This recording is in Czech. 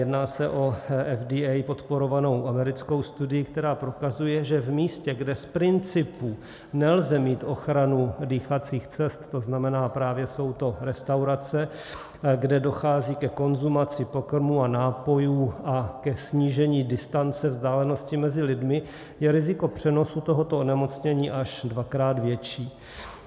Jedná se o FDA podporovanou americkou studii, která prokazuje, že v místě, kde z principu nelze mít ochranu dýchacích cest, to znamená, právě jsou to restaurace, kde dochází ke konzumaci pokrmů a nápojů a k snížení distance, vzdálenosti mezi lidmi, je riziko přenosu tohoto onemocnění až dvakrát větší.